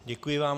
Děkuji vám.